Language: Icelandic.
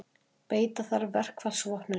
Beita þarf verkfallsvopninu